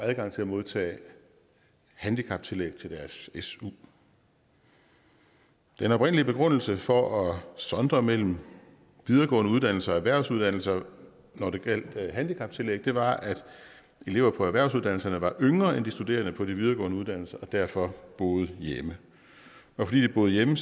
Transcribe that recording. adgang til at modtage handicaptillæg til deres su den oprindelige begrundelse for at sondre mellem videregående uddannelser og erhvervsuddannelser når det gælder handicaptillæg var at elever på erhvervsuddannelserne var yngre end de studerende på de videregående uddannelser og derfor boede hjemme og fordi de boede hjemme